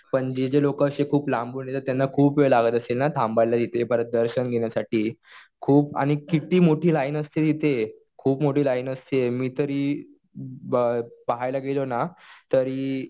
पण जे जे लोकं खूप असे लांबून येतात त्यांना खूप वेळ लागत असेल ना थांबायला इथे. परत दर्शन घेण्यासाठी. खूप आणि किती मोठी लाईन असते तिथे. खूप मोठी लाईन असते. मी तरी पाहायला गेलो ना तरी